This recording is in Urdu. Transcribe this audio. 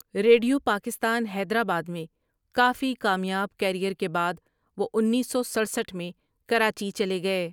ریڈیو پاکستان حیدرآباد میں کافی کامیاب کیریئر کے بعد، وہ انیس سو سٹڑسٹھ میں کراچی چلے گئے ۔